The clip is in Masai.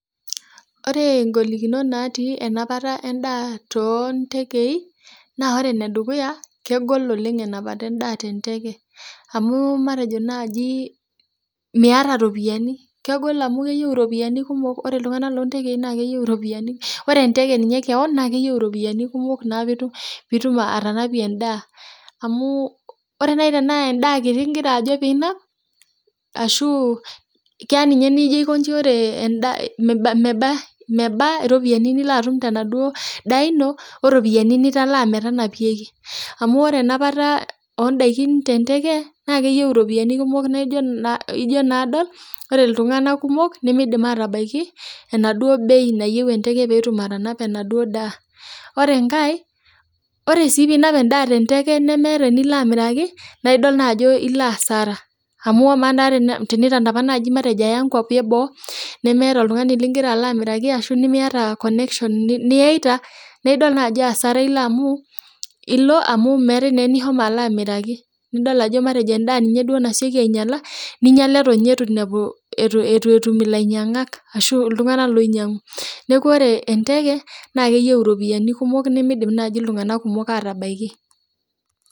Ore golikinot natii enapata endaa tontekei, naa ore enedukuya, kegol oleng enapata endaa tenteke. Amu matejo naji miata ropiyiani, kegol amu keyieu iropiyiani kumok ore iltung'anak lontekei na keyieu iropiyiani, ore enteke ninye keon, na keyieu iropiyiani kumok naa pitum atanapie endaa amu ore nai enaa endaa kiti igira ajo pinap, ashu keya ninye nijo aikoji ore endaa meba iropiyiani nilo atum tenaduo daa ino, oropiyiani nitalaa metanapieki. Amu ore enapata odaikin tenteke, na keyieu iropiyiani kumok na ijo naa adol, ore iltung'anak kumok, nimidim atabaiki endauo bei nayieu enteke petum atanapa enaduo daa. Ore enkae, ore si pinap endaa tenteke nemeeta enilo amiraki, naa idol naajo ilo asara. Amu, amaa naa tenitanapa naji matejo aya nkwapi eboo, nemeeta oltung'ani ligira alo amiraki ashu nimiata connection niyaita, na idol najo asara ilo amu meetae naa enishomo alo amiraki. Nidol ajo matejo endaa duo naseki ainyala, ninyala eton inye itu nepu etu etum ilainyang'ak, ashu iltung'anak loinyang'u. Neeku ore enteke, na keyieu iropiyiani kumok nimidim naji iltung'anak kumok atabaiki.